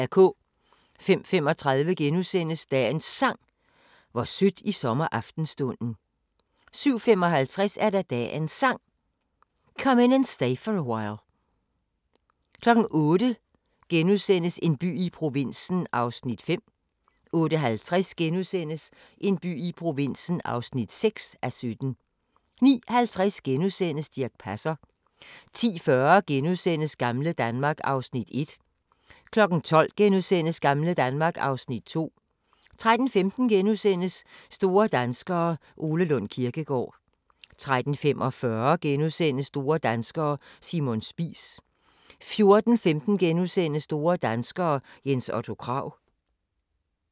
05:35: Dagens Sang: Hvor sødt i sommeraftenstunden * 07:55: Dagens Sang: Come In And Stay For A While 08:00: En by i provinsen (5:17)* 08:50: En by i provinsen (6:17)* 09:50: Dirch Passer * 10:40: Gamle Danmark (Afs. 1)* 12:00: Gamle Danmark (Afs. 2)* 13:15: Store danskere – Ole Lund Kirkegaard * 13:45: Store danskere: Simon Spies * 14:15: Store Danskere: Jens Otto Krag *